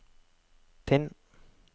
Tinn